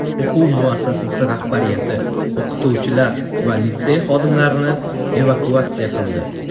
O‘quv muassasasi rahbariyati o‘qituvchilar va litsey xodimlarini evakuatsiya qildi.